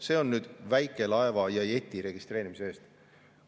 See on nüüd väikelaeva ja jeti registreerimise eest.